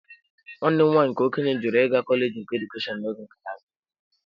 Nwanne m nwanyị nke okenye jụrụ ịga kọleji nke Edukeshọn n'oge gara aga.